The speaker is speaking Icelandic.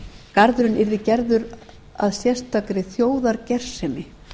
garðurinn yrði gerður að sérstakri þjóðargersemi